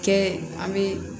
Kɛ an bɛ